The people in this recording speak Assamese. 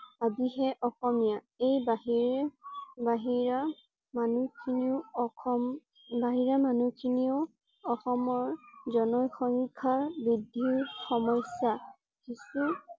আদিহে অসমীয়া। এই বাহিৰ বাহিৰা মানুহ খিনিও অসম বাহিৰা মানুহ খিনিয়েও অসমৰ জনসংখ্যা বৃদ্ধিৰ সমস্যা । কিছু